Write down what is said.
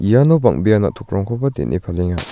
iano bang·bea na·tokrangkoba den·e palenga.